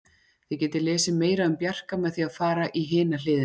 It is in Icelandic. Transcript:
Þið getið lesið meira um Bjarka með því að fara í hina hliðina.